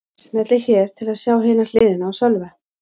Smellið hér til að sjá hina hliðina á Sölva